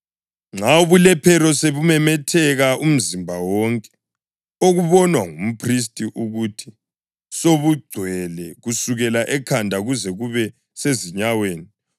Nxa ubulephero sobumemetheka umzimba wonke okubonwa ngumphristi ukuthi sobugcwele kusukela ekhanda kuze kube sezinyaweni,